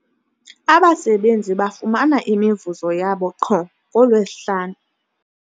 Abasebenzi bafumana imivuzo yabo qho ngoLwezihlanu.